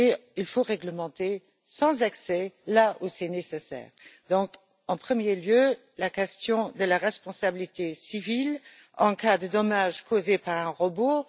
Il faut réglementer, sans excès, lorsque c'est nécessaire. En premier lieu se pose la question de la responsabilité civile en cas de dommage causé par un robot.